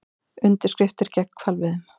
Undirskriftir gegn hvalveiðum